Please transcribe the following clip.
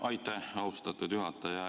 Aitäh, austatud juhataja!